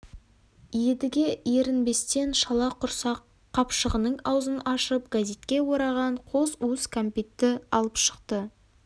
едіге ерінбестен шала құрсақ қапшығының аузын ашып газетке ораған қос уыс кәмпитті алып шықты